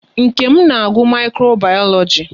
Nkem na-agụ Mikro bayoloji